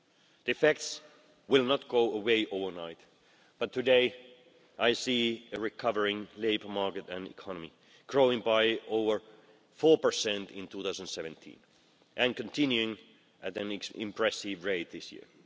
The effects will not go away overnight, but today I see a recovering labour market and economy growing by over 4 in 2017 and continuing at an impressive rate this year.